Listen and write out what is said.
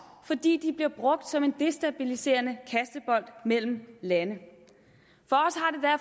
fordi de bliver brugt som en destabiliserende kastebold mellem lande